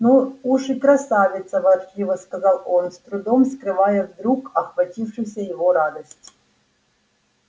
ну уж и красавица ворчливо сказал он с трудом скрывая вдруг охватившую его радость